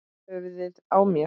Höfuðið á mér